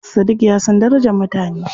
Sadiq ya san darajar mutane.